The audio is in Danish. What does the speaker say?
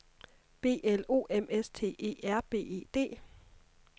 B L O M S T E R B E D